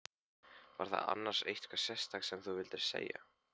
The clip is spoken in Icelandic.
Var það annars eitthvað sérstakt sem þú vildir segja?